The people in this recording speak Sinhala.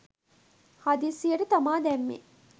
හදිස්සියට තමා දැම්මේ.